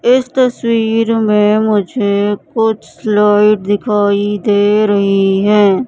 इस तस्वीर में मुझे कुछ स्लाइड दिखाई दे रही हैं।